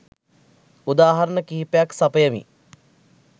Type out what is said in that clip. උදාහරන කීපයක් සපයමි.